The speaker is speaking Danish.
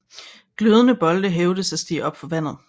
Glødende bolde hævdes at stige op fra vandet